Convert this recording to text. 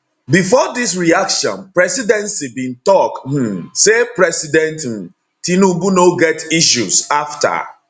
bifor dis reaction presidency bin tok um say president um tinubu no get issues afta